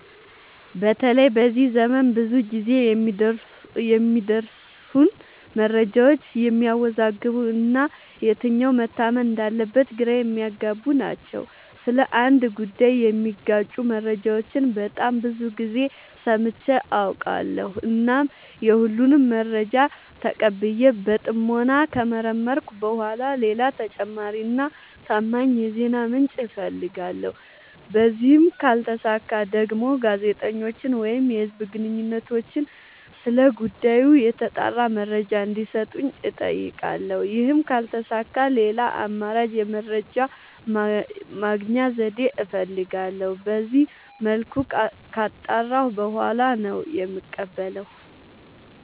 በተለይ በዚህ ዘመን ብዙ ግዜ የሚደርሱን መረጃዎች የሚያዎዛግቡ እና የትኛው መታመን እንዳለበት ግራ የሚያገቡ ናቸው። ስለ አንድ ጉዳይ የሚጋጩ መረጃዎችን በጣም ብዙ ግዜ ሰምቼ አውቃለሁ። እናም የሁሉንም መረጃ ተቀብዬ በጥሞና ከመረመርኩኝ በኋላ ሌላ ተጨማሪ እና ታማኝ የዜና ምንጭ አፈልጋለሁ። በዚህም ካልተሳካ ደግሞ ጋዜጠኞችን ወይም የህዝብ ግንኙነቶችን ስለ ጉዳዩ የተጣራ መረጃ እንዲ ሰጡኝ አጠይቃለሁ። ይህም ካልተሳካ ሌላ አማራጭ የመረጃ የማግኛ ዘዴ እፈልጋለሁ። በዚመልኩ ካጣራሁ በኋላ ነው የምቀበለው።